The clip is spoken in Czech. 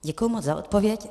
Děkuji moc za odpověď.